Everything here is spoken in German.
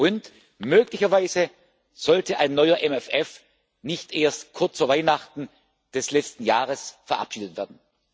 Und möglicherweise sollte ein neuer MFR nicht erst kurz vor Weihnachten des letzten Jahres verabschiedet werden.